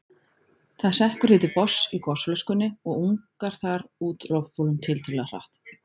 Það sekkur því til botns í gosflöskunni og ungar þar út loftbólum tiltölulega hratt.